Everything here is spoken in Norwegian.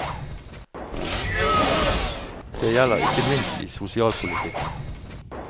Det gjelder ikke minst i sosialpolitikken.